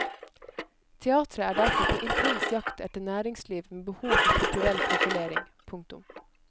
Teateret er derfor på intens jakt etter næringsliv med behov for kulturell profilering. punktum